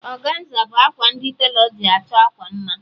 Ọganza bụ akwa ndi telọ ji achọ akwa mma